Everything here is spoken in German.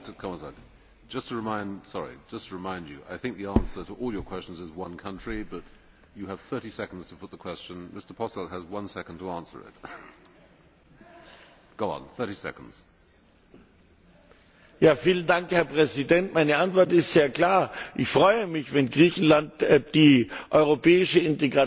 Meine Antwort ist sehr klar Ich freue mich, wenn Griechenland die europäische Integration des ganzen Raums und damit auch Mazedoniens vorantreibt. Das heißt, ich appelliere an die griechische Regierung und an den Rat, die Namensfrage noch im nächsten halben Jahr des griechischen Vorsitzes zu lösen und dafür zu sorgen, dass diese nicht länger die Entwicklung